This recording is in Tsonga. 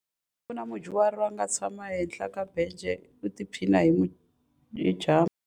Ku na mudyuhari a nga tshama ehenhla ka bence u tiphina hi dyambu.